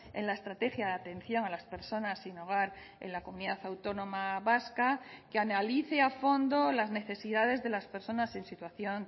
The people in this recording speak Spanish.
en la estrategia de atención a las personas sin hogar en la comunidad autónoma vasca que analice a fondo las necesidades de las personas en situación